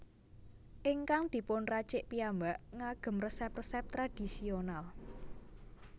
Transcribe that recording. Ingkang dipun racik piyambak ngagem resep resep tradisional